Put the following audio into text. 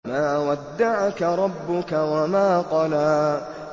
مَا وَدَّعَكَ رَبُّكَ وَمَا قَلَىٰ